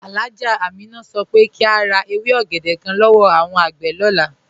Alhájá Àmínà sọ pé kí a rá èwé ògédè kán lọ́wọ́ awọn agbé lọlá.